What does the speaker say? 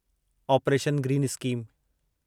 operation green scheme